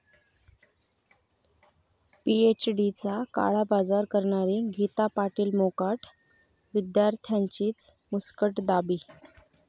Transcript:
पीएचडीचा काळाबाजार करणारी गीता पाटील मोकाट, विद्यार्थ्यांचीच मुस्कटदाबी